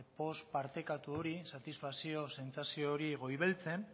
poz partekatu hori satisfazio sentsazio hori goibeltzen